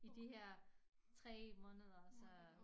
I de her 3 måneder så